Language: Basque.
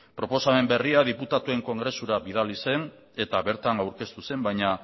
proposamen berria diputatuen kongresura bidali zen eta bertan aurkeztu zen baina